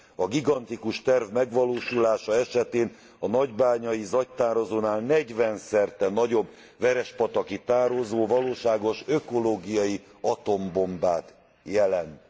A gigantikus terv megvalósulása esetén a nagybányai zagytározónál negyvenszerte nagyobb verespataki tározó valóságos ökológiai atombombát jelent.